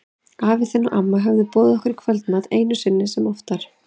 Afi þinn og amma höfðu boðið okkur í kvöldmat, einu sinni sem oftar.